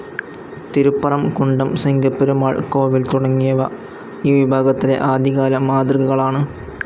തിരുപ്പറം കുണ്ടം സിങ്കപ്പെരുമാൾ കോവിൽ തുടങ്ങിയവ ഈ വിഭാഗത്തിലെ ആദ്യകാല മാതൃകകളാണ്.